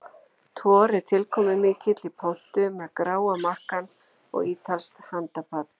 Thor er tilkomumikill í pontu með gráa makkann og ítalskt handapat.